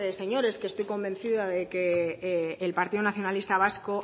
señores que estoy convencida de que el partido nacionalista vasco